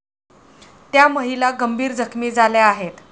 त्या महिला गंभीर जखमी झाल्या आहेत.